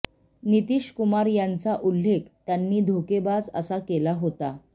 नितीश कुमार यांचा उल्लेख त्यांनी धोकेबाज असा केला होता